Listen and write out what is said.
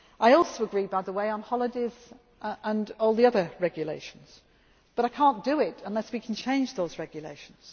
need to do. I also agree, by the way, on holidays and all the other regulations, but I cannot do it unless we can change those